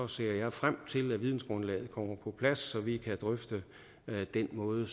ser jeg frem til at vidensgrundlaget kommer på plads så vi kan drøfte den måde